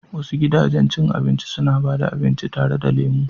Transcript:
Wasu gidajen cin abinci suna ba da abinci tare da lemu.